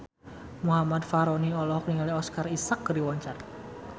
Muhammad Fachroni olohok ningali Oscar Isaac keur diwawancara